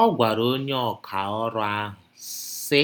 Ọ gwara Onye Ọkà Ọrụ ahụ, sị: